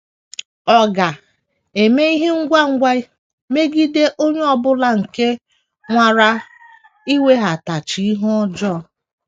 Ọ ga - eme ihe ngwa ngwa megide onye ọ bụla nke nwara iwetaghachi ihe ọjọọ.